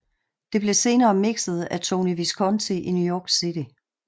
Det blev senere mixet af Tony Visconti i New York City